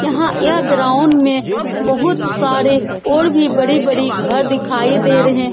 यहाँ यह ग्राउंड में बहुत सारे और भी बड़े-बड़े घर दिखाई दे रहे हैं।